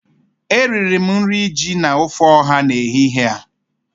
Eriri m nri ji na ofe ọha n'ehihie a